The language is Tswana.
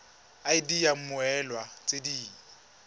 id ya mmoelwa tse di